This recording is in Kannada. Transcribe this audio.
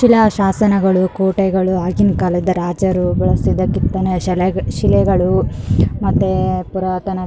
ಶಿಲಾಶಾಸನಗಳು ಕೋಟೆಗಳು ಆಗಿನ ಕಾಲದ ರಾಜರುಗಳ ಸಿದ ಕೆತ್ತನೆ ಶಲ ಶಿಲೆಗಳು ಮತ್ತೆ ಪುರಾತನ --